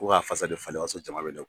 Ko ka falen o y'a jama bɛ ne kun